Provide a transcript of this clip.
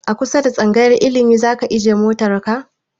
A kusa da tsangayar ilimi zaka ajiye motan ka?